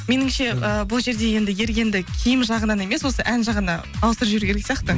меніңше ы бұл жерде енді ергенді киім жағынан емес осы ән жағына ауыстырып жіберу керек сияқты